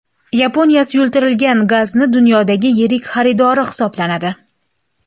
Yaponiya suyultirilgan gazning dunyodagi yirik xaridori hisoblanadi.